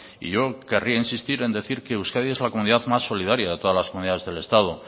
y yo querría insistir en decir que euskadi es la comunidad más solidaria de todas las comunidades del estado